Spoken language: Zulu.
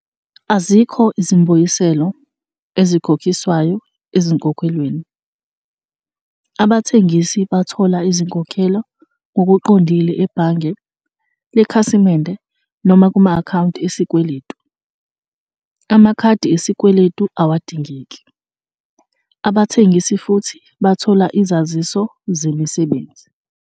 Azikho izimbuyiselo ezikhokhiswayo ezinkokhelweni. Abathengisi bathola izinkokhelo ngokuqondile ebhange lekhasimende noma kuma-akhawunti esikweletu. Amakhadi esikweletu awadingeki. Abathengisi futhi bathola izaziso zemisebenzi.